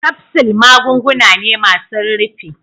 kapsul magunguna ne masun rufi.